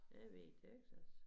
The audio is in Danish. Jeg har været i Texas